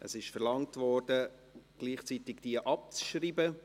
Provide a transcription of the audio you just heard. Es wurde verlangt, diese gleichzeitig abzuschreiben.